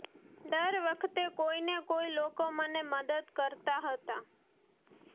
દર વખતે કોઈને કોઈ લોકો મને મદદ કરતા હતા